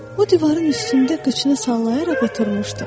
O divarın üstündə qıçını sallayaraq oturmuşdu.